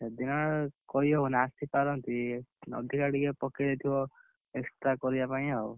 ସେ ଦିନ, କହି ହବନି ଆସି ପାରନ୍ତି ଅଧିକା ଟିକେ ପକେଇଦେଇଥିବ, extra କରିବା ପାଇଁ ଆଉ।